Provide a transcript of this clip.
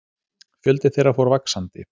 Fjöldi þeirra fór vaxandi.